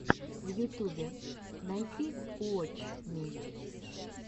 в ютюбе найти уотч ми